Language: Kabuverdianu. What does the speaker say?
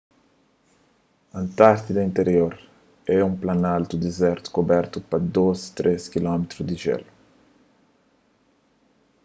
antártida interior é un planaltu dizertu kubertu pa 2-3 km di jélu